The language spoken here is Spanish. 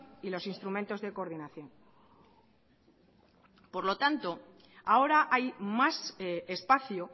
y los instrumentos de coordinación por lo tanto ahora hay más espacio